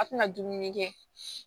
A tɛna dumuni kɛ